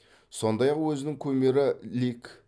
сондай ақ өзінің кумирі лик